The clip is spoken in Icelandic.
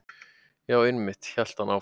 Já, einmitt- hélt hann áfram.